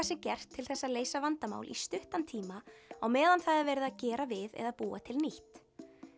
sé gert til þess að leysa vandamál í stuttan tíma á meðan það er verið að gera við eða búa til nýtt